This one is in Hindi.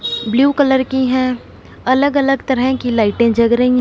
ब्लू कलर की हैं अलग अलग तरह की लाइटें जग रही--